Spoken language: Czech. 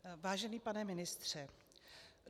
Vážený pane ministře.